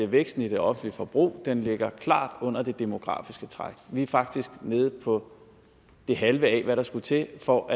væksten i det offentlige forbrug ligger klart under det demografiske træk vi er faktisk nede på det halve af hvad der skal til for